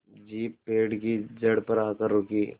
jeep पेड़ की जड़ पर आकर रुकी